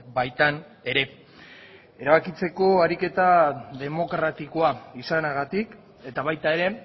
baitan ere erabakitzeko ariketa demokratikoa izanagatik eta baita ere